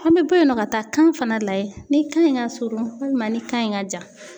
An be bɔ yen nɔ, ka taa kan fana lajɛ ni kan in ka surun walima ni kan in ka jan.